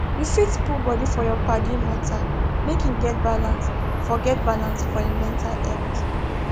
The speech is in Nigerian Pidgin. you fit put body for your paddy matter make him get balance for get balance for him mental health